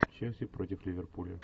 челси против ливерпуля